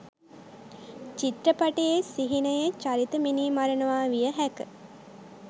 චිත්‍රපටයේ සිහිනයේ චරිත මිනී මරනවා විය හැක.